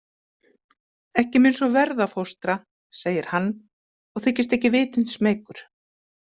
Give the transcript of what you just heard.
Ekki mun svo verða, fóstra, segir hann og þykist ekki vitund smeykur.